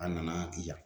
A nana di yan